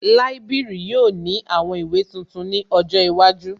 Líbìrì yóò ní àwọn ìwé tuntun ní ọjọ́ iwájú